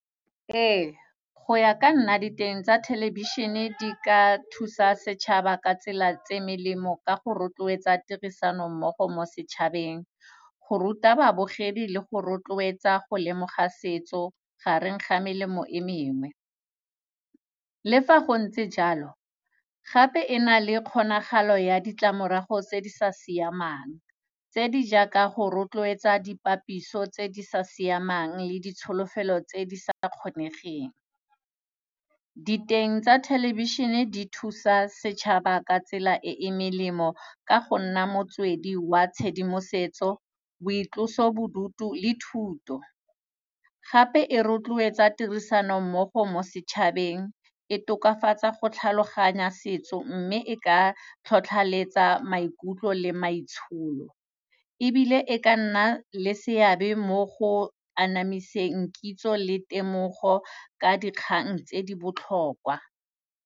Ee, go ya ka nna diteng tsa thelebišhene di ka thusa setšhaba ka tsela tse melemo ka go rotloetsa tirisanommogo mo setšhabeng, go ruta babogedi le go rotloetsa go lemoga setso, gareng ga melemo e mengwe. Le fa go ntse jalo, gape e na le kgonagalo ya ditlamorago tse di sa siamang tse di jaaka, go rotloetsa dipapiso tse di sa siamang le ditsholofelo tse di sa kgonegeng. Diteng tsa thelebišhene di thusa setšhaba ka tsela e e melemo ka go nna motswedi wa tshedimosetso, boitlosobodutu le thuto. Gape, e rotloetsa tirisanommogo mo setšhabeng, e tokafatsa go tlhaloganya setso mme e ka tlhotlhaletsa maikutlo le maitsholo. Ebile, e ka nna le seabe mo go anamiseng kitso le temogo ka dikgang tse di botlhokwa.